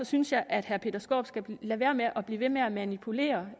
synes jeg at herre peter skaarup skal lade være med at blive ved med at manipulere